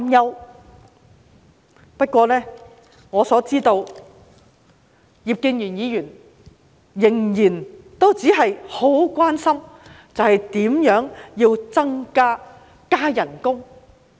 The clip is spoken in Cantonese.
然而，據我所知，葉建源議員仍然只關心如何能夠加薪。